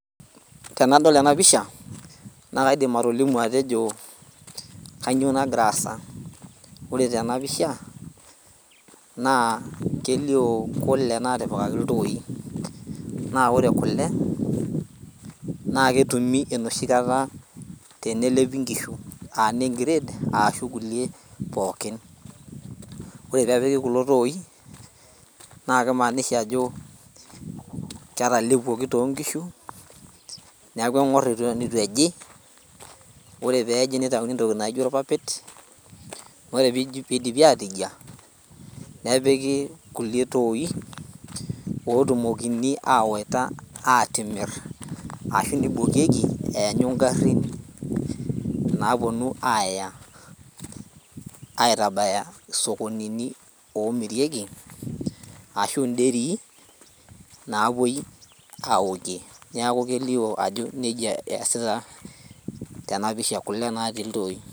Tenadol ena pisha naa kaidim atolimu atejo kanyio nagira aasa ore tena pisha naa kelio kule natipikaki iltoi naa ore kule naa ketumi enoshi kata tenelepi nkishu aa nengired aashu kulie pookin ore peepiki kulo toi naa kimanisha ajo ketalepuoki tonkishu niaku eng'orr iton itu ejii ore peeji nitauni entoki naijo irpapait ore pidipi atijia nepiki kulie toi otumokini awaita atimirr ashu nibokieki eanyu ingarrin naponu aaya aitabaya isokonini omirieki ashu inderii napuoi awokie niaku kelio ajo nejia eyasita tena pisha kule natii iltoi.